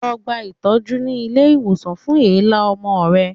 Lọ gba itọju ni ile iwosan fun èélá ọmọ rẹ